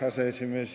Hea aseesimees!